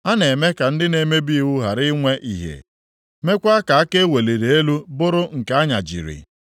A na-eme ka ndị na-emebi iwu ghara inwe ìhè, meekwa ka aka e weliri elu bụrụ nke a nyajiri.